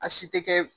A si tɛ kɛ